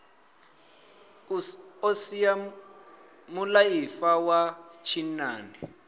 o sia mulaifa wa tshinnani